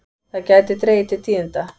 Það gæti dregið til tíðinda.